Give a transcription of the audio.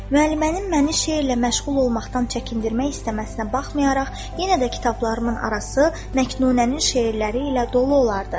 Müəllimənin məni şeirlə məşğul olmaqdan çəkindirmək istəməsinə baxmayaraq, yenə də kitablarımın arası Məknunənin şeirləri ilə dolu olardı.